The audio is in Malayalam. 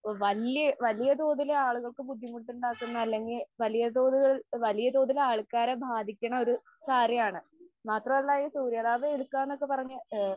വല്യ വലിയ തോതിൽ ആളുകൾക്ക് ബുദ്ധിമുട്ടുണ്ടാക്കുന്ന അല്ലെങ്കിൽ വലിയ തോതുകൾ വലിയ തോതിൽ ആൾക്കാരെ ബാധിക്കണ ഒരു കാര്യമാണ്. മാത്രമല്ല ഈ സൂര്യതാപം ഏൽക്കാന്നൊക്കെ പറഞ്ഞ്